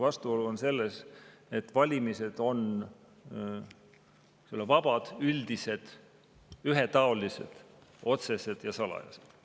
Vastuolu on selles, et valimised on vabad, üldised, ühetaolised, otsesed ja salajased.